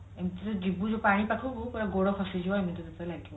ଏମତି ରେ ଯିବୁ ଯୋଉ ପାଣି ପାଖକୁ ତତେ ଗୋଡ ଖସି ଯିବ ଏମିତି ତତେ ଲାଗିବ